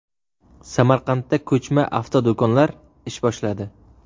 Samarqandda ko‘chma avtodo‘konlar ish boshladi.